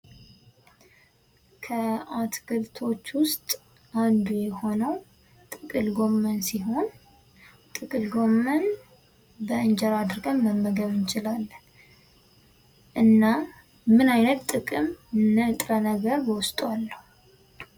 ከአትክልቶች ውስጥ አንዱ የሆነው ጥቅል ጎመን ሲሆን ጥቅል ጎመን በእንጀራ አድርገን መመገብ እንቺላለን። እና ምን አይነት ጥቅም እና ንጥረ ነገር በዉስጡ አለው?